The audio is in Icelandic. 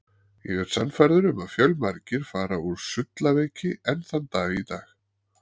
Ég er sannfærður um að fjölmargir fara úr sullaveiki enn þann dag í dag.